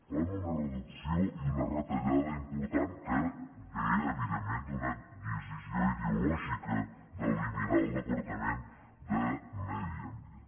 fan una reducció i una retallada important que ve evidentment d’una decisió ideològica d’eliminar el departament de medi ambient